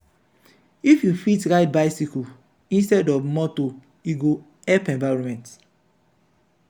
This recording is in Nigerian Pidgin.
if you fit ride bicycle instead of motor e go help environment.